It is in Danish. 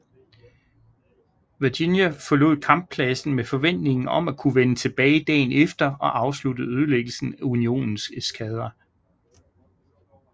Virginia forlod kamppladsen med forventningen om at kunne vende tilbage dagen efter og afslutte ødelæggelsen af Unionens eskadre